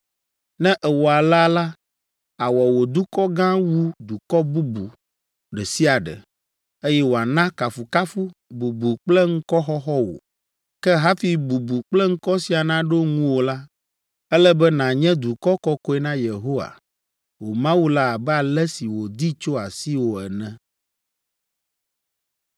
Ne èwɔ alea la, awɔ wò dukɔ gã wu dukɔ bubu ɖe sia ɖe, eye wòana kafukafu, bubu kple ŋkɔxɔxɔ wò. Ke hafi bubu kple ŋkɔ sia naɖo ŋuwò la, ele be nànye dukɔ kɔkɔe na Yehowa, wò Mawu la abe ale si wòdi tso asiwò ene.”